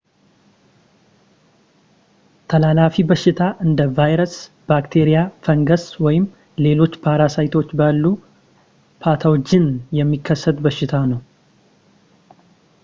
ተላላፊ በሽታ እንደ ቫይረስ ባክቴሪያ ፈንገስ ወይም ሌሎች ፓራሳይቶች ባሉ ፓቶጅን የሚከሰት በሽታ ነው